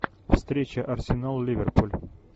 встреча арсенал ливерпуль